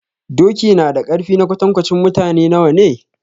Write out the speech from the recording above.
Doki na da ƙarfi na kwatankwacin mutane nawa ne?